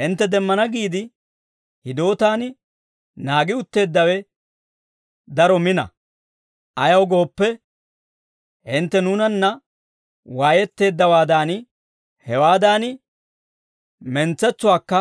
Hintte demmana giide, hidootaan naagi utteeddawe daro mina; ayaw gooppe, hintte nuunanna waayetteeddawaadan, hewaadan mentsetsuwaakka